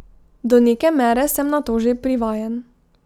Do neke mere sem na to že privajen.